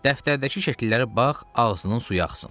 Dəftərdəki şəkillərə bax, ağzının suyu axsın.